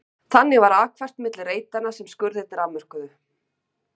Þannig var akfært milli reitanna sem skurðirnir afmörkuðu.